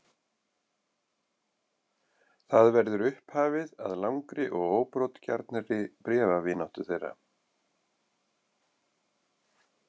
Það verður upphafið að langri og óbrotgjarnri bréfavináttu þeirra.